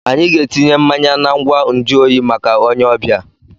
Anyị ga-etinye mmanya na ngwa nju oyi maka onye ọbịa.